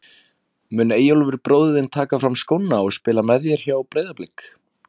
Mun Eyjólfur bróðir þinn taka fram skónna og spila með þér hjá Breiðablik?